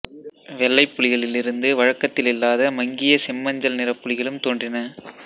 வெள்ளைப் புலிகளிலிருந்து வழக்கத்தில் இல்லாத மங்கியசெம்மஞ்சள் நிறப் புலிகளும் தோன்றின